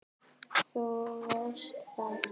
Þú veist það.